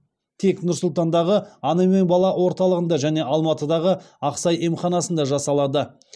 тек нұр сұлтандағы ана мен бала орталығында және алматыдағы ақсай емханасында жасалады